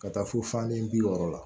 Ka taa fo fan ni bi wɔɔrɔ la